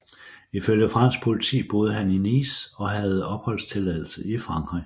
Ifølge fransk politi boede han i Nice og havde opholdstilladelse i Frankrig